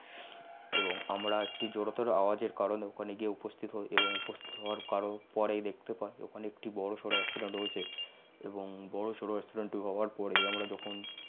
এবং আমারা একটি জরতর আওয়াজ এর কারনে অখানে গিয়ে উপস্থিত হয়েছি এবং উপস্থিত হউয়ার পরে দেখতে পাছহি অখানে একটি বর সর accident হয়েছে এবং বর সর accident হউয়ার পরেই আমরা যখন